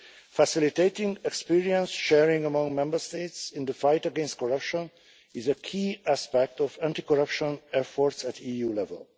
Facilitating experience sharing among Member States in the fight against corruption is a key aspect of anti corruption efforts at EU level.